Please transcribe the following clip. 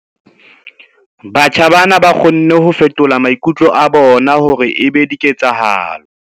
Batjha bana ba kgonne ho fetola maikutlo a bona hore e be diketsahalo.